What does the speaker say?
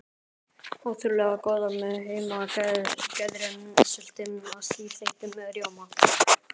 Ótrúlega góðar með heimagerðri sultu og stífþeyttum rjóma.